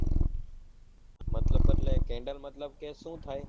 મતલબ એટલે candle મતલબ સુ થાય